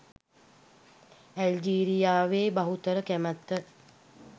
ඇල්ජීරියාවේ බහුතර කැමැත්ත